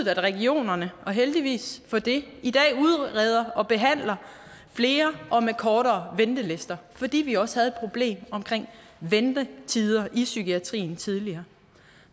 at regionerne og heldigvis for det i dag udreder og behandler flere og med kortere ventelister fordi vi også havde et problem omkring ventetider i psykiatrien tidligere